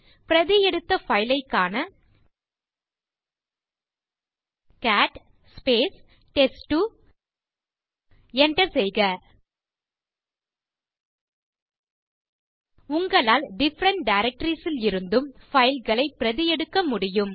பிரதி எடுத்த பைல் ஐக் காண கேட் டெஸ்ட்2 enter செய்க உங்களால் டிஃபரன்ட் டைரக்டரிஸ் ல் இருந்தும் பைல்ஸ் ஐ பிரதி எடுக்க முடியும்